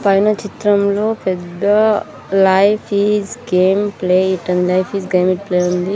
పైన చిత్రంలో పెద్ద life is game play it అని life is game it play అని ఉంది.